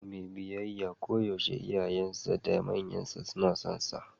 Yaro mai biyayya koyaushe iyayensa da manyansa suna sonsa.